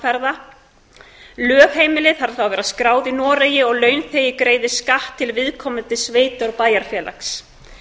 og heimsóknarferða lögheimili þarf að vera skráð í noregi og launþegi greiðir skatt til viðkomandi sveitar eða bæjarfélags